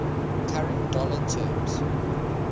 current dollar terms